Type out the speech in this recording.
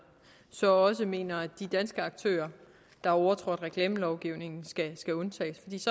så mener at de danske aktører der har overtrådt reklamelovgivningen skal undtages